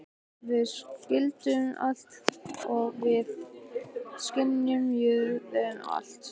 Við skildum allt og við skynjuðum allt.